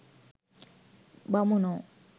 බමුණෝ